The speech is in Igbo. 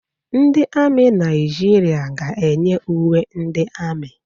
Ndị ami Naịjirịa ga-eyi uwe ndị ami.